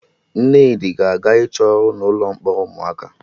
Nnedi ga-aga ịchọ ọrụ na ụlọ mkpọrọ ụmụaka